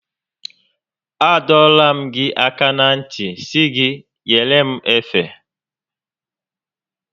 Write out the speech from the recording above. A dọọla m gị aka na ntị sị gị nyere m efe